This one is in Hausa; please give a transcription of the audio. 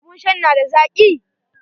Abun shan n ada zaki?